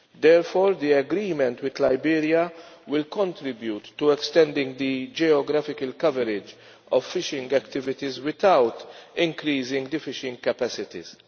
Therefore, the agreement with Liberia will contribute to extending the geographical coverage of fishing activities without increasing the fishing capacities.